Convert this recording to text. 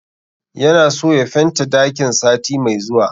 Ya na so ya fenta dakin sati mai zuwa